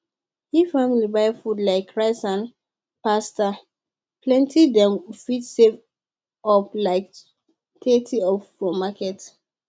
if family buy food like rice and pasta plenty dem fit save up to like thirty for market